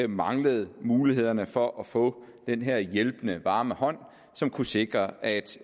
manglet mulighederne for at få den her hjælpende varme hånd som kunne sikre at